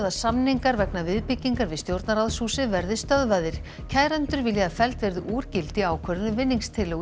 að samningar vegna viðbyggingar við stjórnarráðshúsið verði stöðvaðir kærendur vilja að felld verði úr gildi ákvörðun um